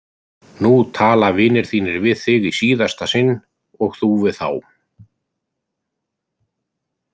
Nú tala vinir þínir við þig í síðasta sinn og þú við þá!